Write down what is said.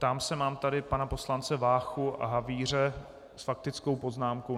Ptám se - mám tady pana poslance Váchu a Havíře s faktickou poznámkou.